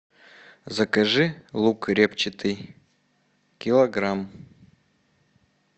закажи лук репчатый килограмм